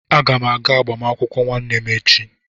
Aga m aga agbamakwụkwọ nwanne m echi.